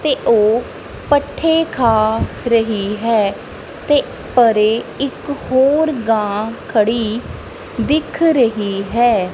ਤੇ ਉਹ ਪੱਠੇ ਖਾ ਰਹੀ ਹੈ ਤੇ ਪਰੇ ਇੱਕ ਹੋਰ ਗਾਂ ਖੜੀ ਦਿਖ ਰਹੀ ਹੈ।